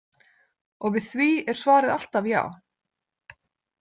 Og við því er svarið alltaf já.